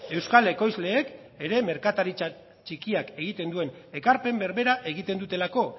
euskal ekoizleek ere merkataritza txikiak egiten duen ekarpen berbera egiten dutelako